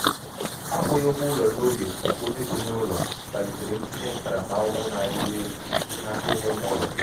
akwughi ụgwọ ụlọ n'oge nke onye bi n'ụlọ kpalitere um ntinye ntaramahụhụ na-arịwanye elu um site n'aka onye nwe ụlọ. nwe ụlọ. um